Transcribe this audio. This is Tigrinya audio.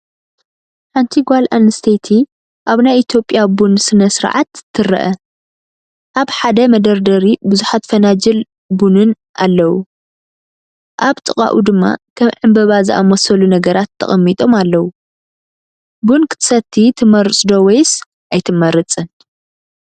ሓንቲ ጓል ኣንስተይቲ ኣብ ናይ ኢትዮጵያ ቡን ስነ-ስርዓት ትርአ። ኣብ ሓደ መደርደሪ ብዙሓት ፈናጅል ቡንን ኣለዉ። ኣብ ጥቓኡ ድማ ከም ዕምበባ ዝኣመሰሉ ነገራት ተቀሚጦም ኣለው። ቡን ክትሰቲ ትመርጽ ዶ ወይስ ኣይትመርፅን?